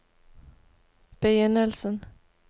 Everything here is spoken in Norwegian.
begynnelsen